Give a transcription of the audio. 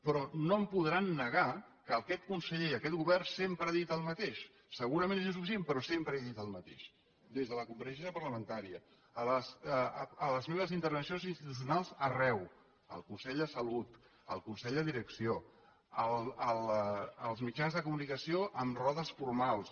però no em podran negar que aquest conseller i aquest govern sempre han dit el mateix segurament és insuficient però sempre he dit el mateix des de la compareixença parlamentària a les meves intervencions institucionals arreu al consell de salut al consell de direcció als mitjans de comunicació en rodes formals